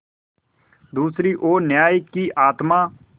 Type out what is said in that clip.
दूसरी ओर न्याय की आत्मा